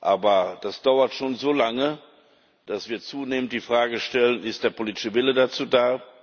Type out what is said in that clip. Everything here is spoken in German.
Aber das dauert schon so lange, dass wir zunehmend die Frage stellen Ist der politische Wille dazu da?